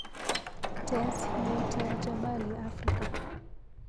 Tess yeitya Jabali Afrika.